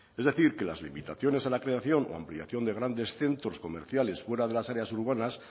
es decir que las limitaciones a la creación o ampliación de grandes centros comerciales fuera de las áreas urbanas